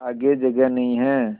आगे जगह नहीं हैं